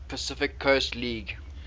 pacific coast league